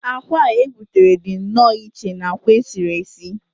akwa a gbutere dị nnọọ iche na akwa sie